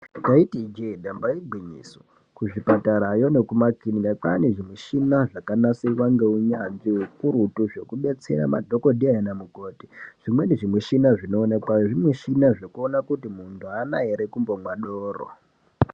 Taiti ijee damba igwinyiso, kuzvipatarayo nekumakirinika kwaane zvimichina zvakanasirwa ngeunyanzvi ukurutu zvekudetsera madhogodheya nanamukoti. Zvimweni zvimushina zvinooinekweyo zvimushina zvekuona kuti muntu haana ere kumbomwa doro.